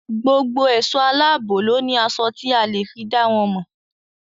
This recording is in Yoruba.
Gbogbo èso aláàbò ló ní aṣọ tí a fi le è dá wọn mọ̀.